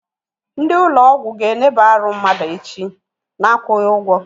Ndị ụlọ ọgwụ ga eneba arụ mmadụ echi, na akwụghị ụgwọ